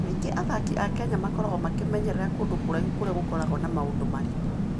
Kaingĩ athaki a Kenya makoragwo makĩmenyerera kũndũ kũraihu kũrĩa gũkoragwo na maũndũ maritũ.